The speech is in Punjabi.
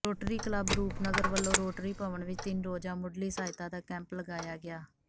ਰੋਟਰੀ ਕਲੱਬ ਰੂਪਨਗਰ ਵੱਲੋਂ ਰੋਟਰੀ ਭਵਨ ਵਿੱਚ ਤਿੰਨ ਰੋਜ਼ਾ ਮੁੱਢਲੀ ਸਹਾਇਤਾ ਦਾ ਕੈਂਪ ਲਗਾਇਆ ਗਿਆ